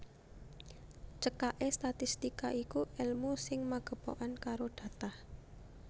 Cekaké statistika iku èlmu sing magepokan karo data